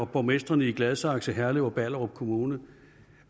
borgmestrene i gladsaxe herlev og ballerup kommuner